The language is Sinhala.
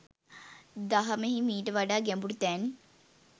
දහමෙහි මීට වඩා ගැඹුරු තැන්